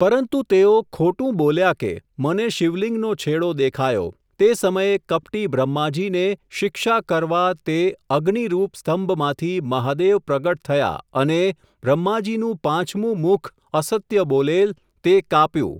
પરંતુ તેઓ, ખોટું બોલ્યા કે, મને શિવલિંગનો છેડો દેખાયો, તે સમયે કપટી બ્રહ્માજીને, શિક્ષા કરવા તે, અગ્નિરૂપ સ્તંભમાંથી, મહાદેવ પ્રગટ થયા અને, બ્રહ્માજીનું પાંચમું મુખ અસત્ય બોલેલ, તે કાપ્યું.